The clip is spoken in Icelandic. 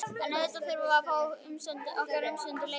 En auðvitað þurftum við að fá okkar umsömdu leigu.